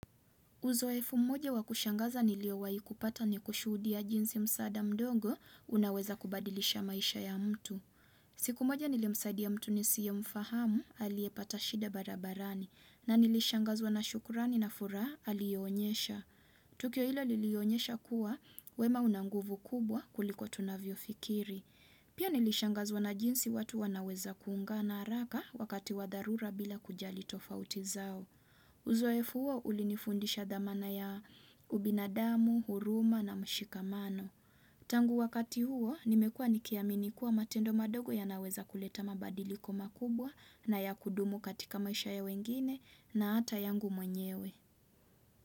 Uzoefu mmoja wakushangaza nilio waikupata ni kushudia jinsi msada mdogo unaweza kubadilisha maisha ya mtu. Siku mmoja nilimsaidi a mtu nisiye mfahamu alie patashida barabarani na nilishangazwa na shukurani na furaha alionyesha. Tukyo hilo lilionyesha kuwa wema unanguvu kubwa kuliko tunavyo fikiri. Pia nilishangazwa na jinsi watu wanaweza kuunga na haraka wakati wadharura bila kujali tofauti zao. Uzoe fuwa ulinifundisha dhamana ya ubinadamu, huruma na mshikamano. Tangu wakati huo nimekua nikiamini kuwa matendo madogo ya naweza kuleta mabadiliko makubwa na ya kudumu katika maisha ya wengine na ata yangu mwenyewe.